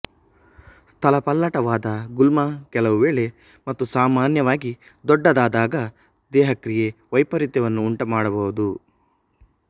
ಸ್ಥಳಪಲ್ಲಟವಾದ ಗುಲ್ಮ ಕೆಲವು ವೇಳೆ ಮತ್ತು ಸಾಮಾನ್ಯವಾಗಿ ದೊಡ್ಡದಾದಾಗ ದೇಹಕ್ರಿಯಾ ವ್ಯೆಪರೀತ್ಯವನ್ನು ಉಂಟುಮಾಡಬಹುದು